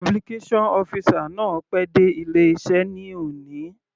Publication officer náà pé dé ilé iṣẹ́ ní òní.